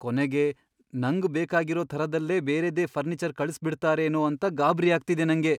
ಕೊನೆಗೆ ನಂಗ್ ಬೇಕಾಗಿರೋ ಥರದ್ದಲ್ದೇ ಬೇರೆದೇ ಫರ್ನೀಚರ್ ಕಳ್ಸ್ಬಿಡ್ತಾರೇನೋ ಅಂತ ಗಾಬ್ರಿ ಆಗ್ತಿದೆ ನಂಗೆ.